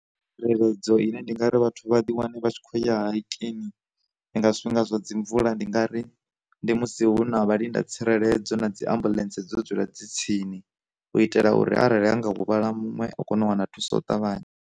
Tsireledzo ine ndi nga ri vhathu vha ḓi wane vha tshi kho ya hikini ndi nga zwifhinga zwa dzi mvula, ndi nga ri ndi musi hu na vha linda tsireledzo na dzi ambulance dzo dzula dzi tsini, u itela uri arali ha nga huvhala muṅwe a kone u wana thuso u ṱavhanya.